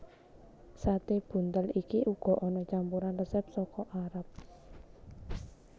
Sate buntel iki uga ana campuran resep saka Arab